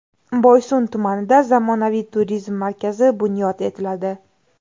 Boysun tumanida zamonaviy turizm markazi bunyod etiladi.